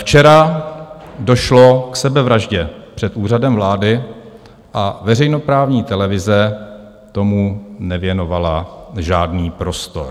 Včera došlo k sebevraždě před Úřadem vlády a veřejnoprávní televize tomu nevěnovala žádný prostor.